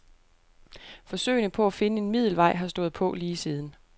Forsøgene på at finde en middelvej har stået på lige siden.